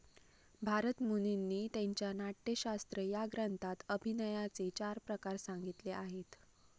भारतमुनींनी त्यांच्या नाट्यशास्त्र या ग्रंथात अभिनयाचे चार प्रकार संगितले आहेत.